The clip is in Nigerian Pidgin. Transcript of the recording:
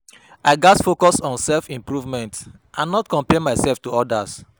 I gats focus on self-improvement and not compare myself to others.